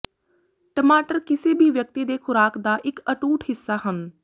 ਟਮਾਟਰ ਕਿਸੇ ਵੀ ਵਿਅਕਤੀ ਦੇ ਖੁਰਾਕ ਦਾ ਇੱਕ ਅਟੁੱਟ ਹਿੱਸਾ ਹਨ